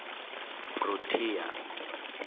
protea